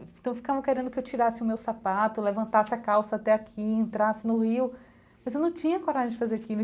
Então ficavam querendo que eu tirasse o meu sapato, levantasse a calça até aqui, entrasse no rio, mas eu não tinha coragem de fazer aquilo.